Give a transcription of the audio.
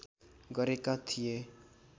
गरेका थिए।